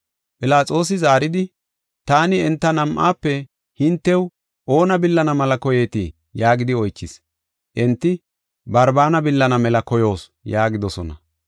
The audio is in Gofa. Philaxoosi zaaridi, “Taani enta nam7aafe hintew oona billana mela koyeetii?” yaagidi oychis. Enti, “Barbaana billana mela koyoos” yaagidosona.